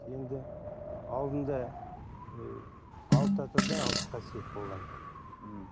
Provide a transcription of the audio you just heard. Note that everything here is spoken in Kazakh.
енді алдында ы алты атада алты қасиет болған м